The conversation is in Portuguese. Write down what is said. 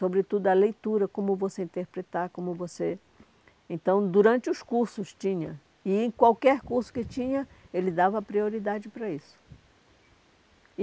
Sobretudo a leitura, como você interpretar, como você... Então, durante os cursos tinha, e em qualquer curso que tinha, ele dava prioridade para isso.